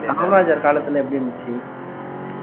காமராஜர் காலத்துல எப்படி இருந்துச்சு